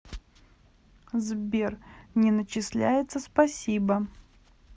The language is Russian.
сбер не начисляется спасибо